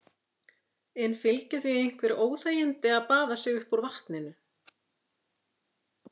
En fylgja því einhver óþægindi að baða sig upp úr vatninu?